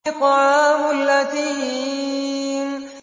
طَعَامُ الْأَثِيمِ